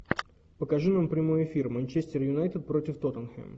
покажи нам прямой эфир манчестер юнайтед против тоттенхэм